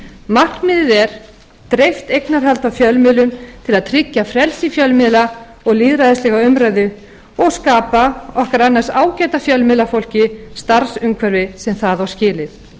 markmiðið er breytt eignarhald á fjölmiðlum til að tryggja frelsi fjölmiðla og lýðræðislega umræðu og skapa okkar annars ágæta fjölmiðlafólki starfsumhverfi sem það á skilið